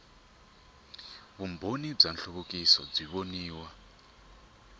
vumbano wa nhluvukiso byi voniwa